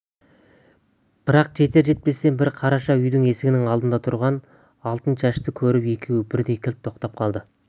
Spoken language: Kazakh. бірақ жетер-жетпестен бір қараша үйдің есігінің алдында тұрған алтыншашты көріп екеуі бірдей кілт тоқтай қалды